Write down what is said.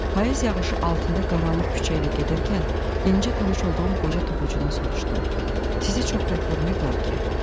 Payız yağışı altında qaranlıq küçə ilə gedərkən yenicə tanış olduğum qoca toxucudan soruşdum: Sizi çox bərk vurmayıblar ki?